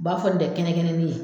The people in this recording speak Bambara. U b'a fɔ nin tɛ kɛnɛ kɛnɛni ye.